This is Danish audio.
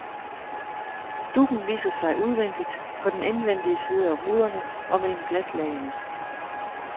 Duggen viser sig udvendigt, på den indvendige side af ruderne og mellem glaslagene.